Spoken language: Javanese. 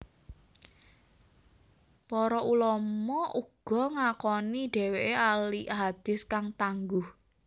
Para ulama uga ngakoni dheweke ahli hadits kang tangguh